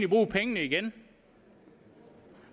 bruge pengene igen